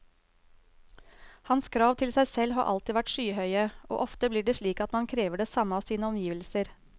Hans krav til seg selv har alltid vært skyhøye, og ofte blir det slik at man krever det samme av sine omgivelser.